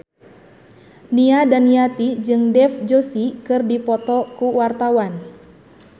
Nia Daniati jeung Dev Joshi keur dipoto ku wartawan